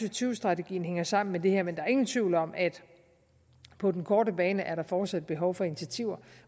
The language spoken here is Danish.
og tyve strategien hænger sammen med det her men der er ingen tvivl om at på den korte bane er der fortsat behov for initiativer